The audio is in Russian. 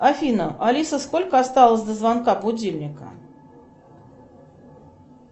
афина алиса сколько осталось до звонка будильника